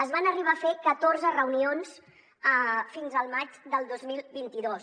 es van arribar a fer catorze reunions fins al maig del dos mil vint dos